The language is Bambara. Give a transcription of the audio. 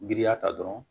Giriya ta dɔrɔn